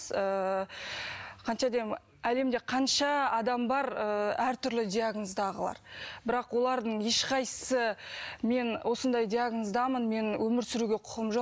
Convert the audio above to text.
ыыы әлемде қанша адам бар ыыы әртүрлі диагноздағылар бірақ олардың ешқайсысы мен осындай диагноздамын мен өмір сүруге құқым жоқ